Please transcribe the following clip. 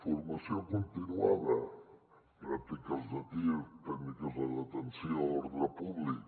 formació continuada pràctiques de tir tècniques de detenció ordre públic